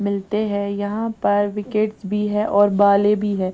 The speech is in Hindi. मिलते हैं यहां पर विकेट्स भी है और बॉले भी है।